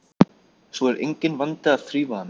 Svo er enginn vandi að þrífa hana.